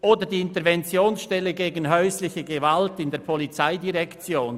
Hinzu kommt die Interventionsstelle gegen häusliche Gewalt der POM.